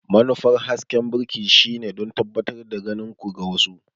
Manufar hasken birki shine don tabbatar da ganin ku ga wasu.